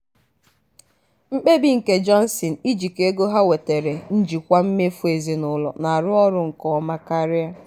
mkpebi nke johnson ijikọ ego ha wetere njikwa mmefu ezinụlọ na-arụ ọrụ nke ọma karịa